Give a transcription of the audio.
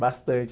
Bastante.